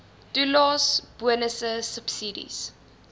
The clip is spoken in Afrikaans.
toelaes bonusse subsidies